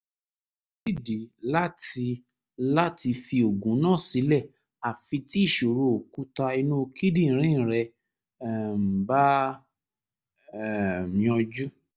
kò sídìí láti láti fi oògùn náà sílẹ̀ àfi tí ìṣòro òkúta inú kíndìnrín rẹ um bá um yanjú